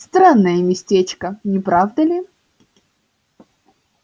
странное местечко не правда ли